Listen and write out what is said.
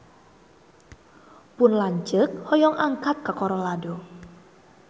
Pun lanceuk hoyong angkat ka Colorado